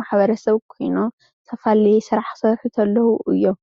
ማሕበረሰብ ኾይኖም ዝተፈላለዩ ስራሕ ኽሰርሑ እንተለው እዮም።